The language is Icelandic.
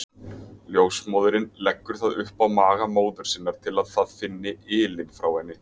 Ljósmóðirin leggur það upp á maga móður sinnar til að það finni ylinn frá henni.